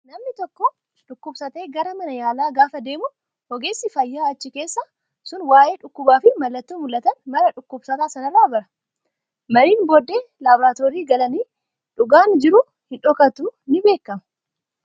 Namni tokko dhukkubsatee gara mana yaalaa gaafa deemnu, ogeessi fayyaa achi keessaa sun waayee dhukkubaa fi mallattoo mul'atan maraa dhukkubsataa sanarraa bara. Mariin booddee laaboraatoorii galanii dhugaan jiru hin dhokatu ni beekama.